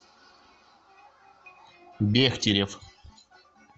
бехтерев